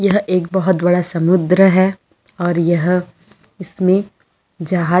यह एक बहुत बड़ा समुद्र हैं और यह इसमें जहाज--